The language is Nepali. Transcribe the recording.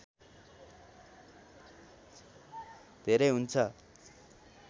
धेरै हुन्छ